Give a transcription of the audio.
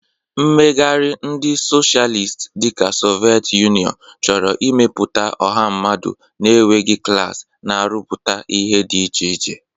Mmegharị ndị Socialist dị ka Soviet Union chọrọ ịmepụta ọha mmadụ na-enweghị klas, na-arụpụta ihe dị iche iche.